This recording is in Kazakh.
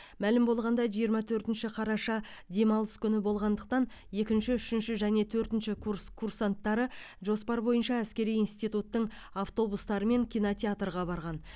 мәлім болғандай жиырма төртінші қараша демалыс күні болғандықтан екінші үшінші және төртінші курс курсанттары жоспар бойынша әскери институттың автобустарымен кинотеатрға барған